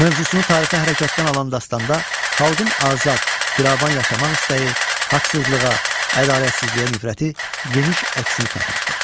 Mövzusunu tarixi hərəkətdən alan dastanda xalqın azad, firavan yaşamaq istəyi, haqsızlığa, ədalətsizliyə nifrəti geniş əksini tapmışdır.